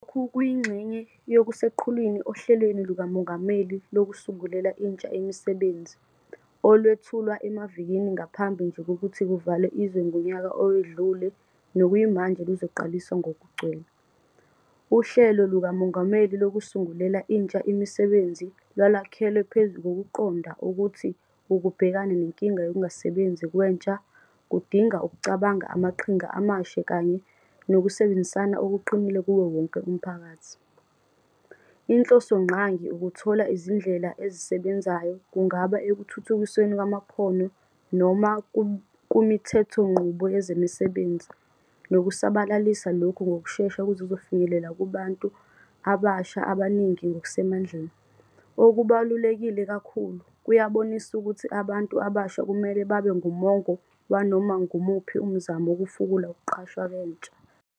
Lokhu kuyingxenye yokuseqhulwini oHlelweni LukaMongameli Lokusungulela Intsha Imisebenzi, olwethulwa emavikini ngaphambi nje kokuthi kuvalwe izwe ngonyaka owedlule nokuyimanje luzoqaliswa ngokugcwele. UHlelo LukaMongameli Lokusungulela Intsha Imisebenzi lwalwakhelwe phezu kokuqonda ukuthi ukubhekana nenkinga yokungasebenzi kwentsha kudinga ukucabanga amaqhinga amasha kanye nokusebenzisana okuqinile kuwowonke umphakathi. Inhlosongqangi ukuthola izindlela ezisebenzayo, kungaba ekuthuthukisweni kwamakhono noma kumithethonqubo yezemisebenzi, nokusabalalisa lokhu ngokushesha ukuze kuzofinyelela kubantu abasha abaningi ngokusemandleni. Okubaluleke kakhulu, kuyabonisa ukuthi abantu abasha kumele babe ngumongo wanoma ngumuphi umzamo wokufukula ukuqashwa kwentsha.